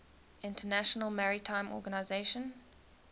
international maritime organization